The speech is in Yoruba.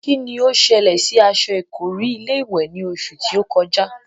Kín ni ó ṣẹlẹ̀ sí aṣọ ìkọ́rí ilé-ìwẹ̀ ní oṣù tí ó kọjá?